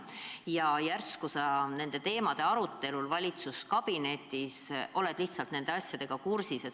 Ja järsku sa tänu nende teemade arutelule valitsuskabinetis oled ikkagi asjaga kursis.